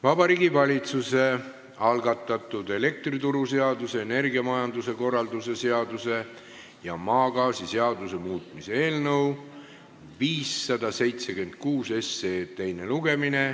Vabariigi Valitsuse algatatud elektrituruseaduse, energiamajanduse korralduse seaduse ja maagaasiseaduse muutmise seaduse eelnõu 576 teine lugemine.